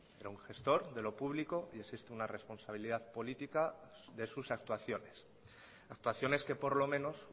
era un gestor de lo público y existe una responsabilidad política de sus actuaciones actuaciones que por lo menos